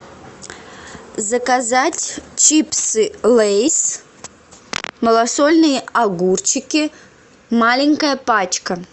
заказать чипсы лейс малосольные огурчики маленькая пачка